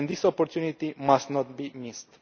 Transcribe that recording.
This opportunity must not be missed.